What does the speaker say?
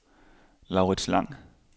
Laurits Lang